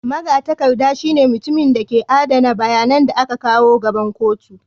Magatakarda shine mutumin da ke adana bayanan da aka kawo gaban kotu.